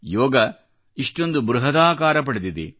ಯೋಗ ಇಷ್ಟೊಂದು ಬೃಹದಾಕಾರ ಪಡೆದಿದೆ